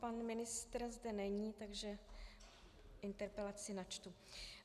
Pan ministr zde není, takže interpelaci načtu.